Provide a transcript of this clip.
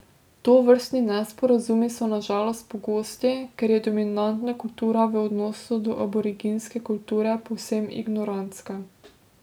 Tovrstni nesporazumi so na žalost pogosti, ker je dominantna kultura v odnosu do aboriginske kulture povsem ignorantska.